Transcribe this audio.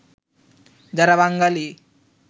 যারা বাঙালী